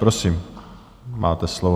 Prosím, máte slovo.